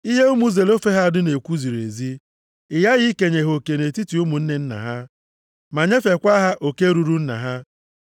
“Ihe ụmụ Zelofehad na-ekwu ziri ezi. Ị ghaghị ikenye ha oke nʼetiti ụmụnne nna ha, ma nyefeekwa ha oke ruru nna ha.